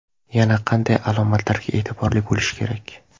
Yana qanday alomatlarga e’tiborli bo‘lish kerak?